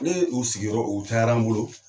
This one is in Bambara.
Ne ye u sigiyɔrɔ u cayara n bolo